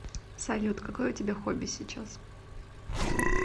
салют какое у тебя хобби сейчас